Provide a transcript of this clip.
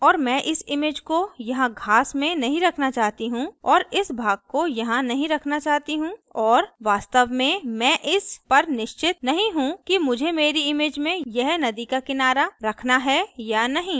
और मैं इस image को यहाँ घास में नहीं रखना चाहती हूँ और इस भाग को यहाँ नहीं रखना चाहती हूँ और वास्तव में मैं इस पर निश्चित नहीं हूँ कि मुझे मेरी image में यह नदी का किनारा रखना है या नहीं